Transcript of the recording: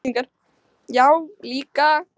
Já, líka